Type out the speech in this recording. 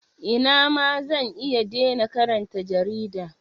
Ina ma zan iya dena karanta jarida.